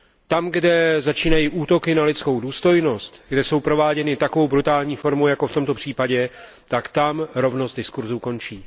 Tam, kde začínají útoky na lidskou důstojnost, kde jsou prováděny takovou brutální formou jako v tomto případě, tak tam rovnost diskurzu končí.